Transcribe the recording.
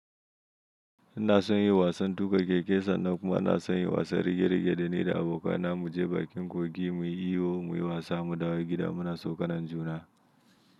Ina son yin wasan tuƙa keke sannan kuma ina son yin wasan rige-rige da ni da abokana mu je bakin kogi mu yi iyo, mu yi wasa, mu dawo gida muna sauƙanajuna.